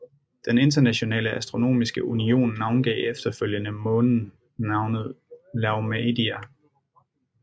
Den Internationale Astronomiske Union navngav efterfølgende månen navnet Laomedeia